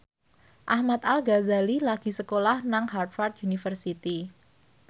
Ahmad Al Ghazali lagi sekolah nang Harvard university